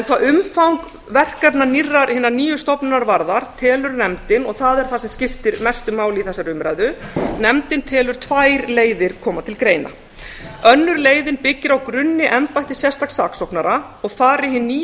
hvað umfang verkefna hinnar nýju stofnunar varðar telur nefndin og það er það sem skiptir mestu máli í þessari umræðu nefndin telur tvær leiðir koma til greina önnur leiðin byggir á grunni embætti sérstaks saksóknara og fari hin nýja stofnun